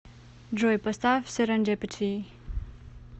джой поставь серендипити